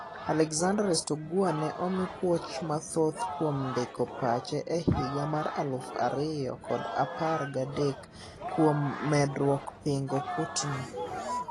Alexander Rastoguer ne omi puoch mathoth kuon ndiko pache ehiga mar alufu ariyo kod apar gadek kuom medruok pingo Putni.